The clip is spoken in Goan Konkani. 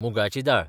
मुगाची दाळ